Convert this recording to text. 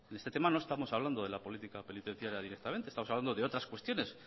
en este tema no estamos hablando de la política penitenciaria directamente estamos hablando de otras cuestiones